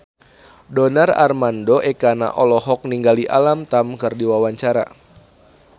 Donar Armando Ekana olohok ningali Alam Tam keur diwawancara